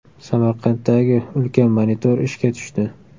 Samarqanddagi ulkan monitor ishga tushdi.